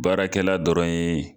Baarakɛla dɔrɔn ye